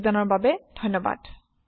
অংশ গ্ৰহণৰ বাবে ধন্যবাদ